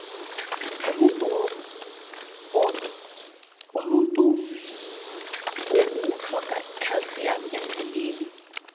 umuntu woku utlhoga ikhalsiyamu emzimbeni